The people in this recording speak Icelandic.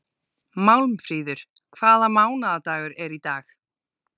Málmfríður, hvaða mánaðardagur er í dag?